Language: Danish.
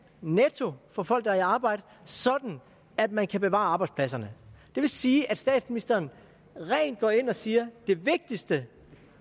netto for folk der er i arbejde sådan at man kan bevare arbejdspladserne det vil sige at statsministeren rent går ind og siger det vigtigste